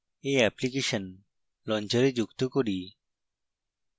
এই application launcher যুক্ত করি